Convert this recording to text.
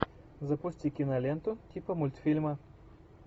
запусти киноленту типа мультфильма